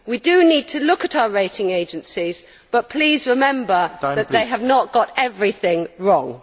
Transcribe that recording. We do need to look at our rating agencies, but please remember that they have not got everything wrong.